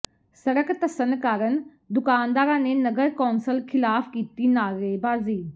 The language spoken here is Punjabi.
ਸੜਕ ਧੱਸਣ ਕਾਰਨ ਦੁਕਾਨਦਾਰਾਂ ਨੇ ਨਗਰ ਕੌਂਸਲ ਖ਼ਿਲਾਫ਼ ਕੀਤੀ ਨਾਅਰੇਬਾਜ਼ੀ